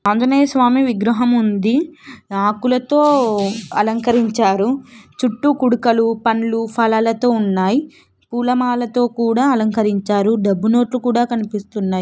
ఆంజనేయస్వామి విగ్రహం ఉంది. ఆకులతో అలంకరించారు చుట్టూ కూడుకలు పండ్లు ఫలాలు తో ఉన్నాయ్ పూలమాలతో కూడా అలంకరించారు డబ్బు నోట్లు కూడా కనిపిస్తున్నాయి.